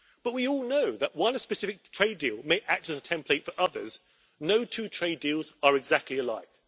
But we all know that while one specific trade deal may act as a template for others, no two trade deals are exactly alike.